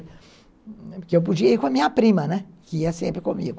Porque eu podia ir com a minha prima, né, que ia sempre comigo.